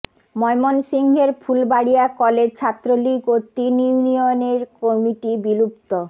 ময়মনসিংহের ফুলবাড়িয়া কলেজ ছাত্রলীগ ও তিন ইউনিয়নের কমিটি বিলুপ্ত